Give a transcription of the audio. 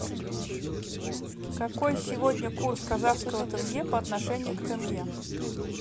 какой сегодня курс казахского тенге по отношению к тенге